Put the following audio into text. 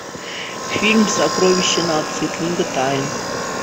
фильм сокровища нации книга тайн